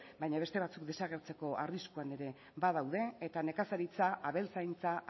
baina beste batzuk desagertzeko arriskuan ere badaude eta nekazaritza abeltzaintza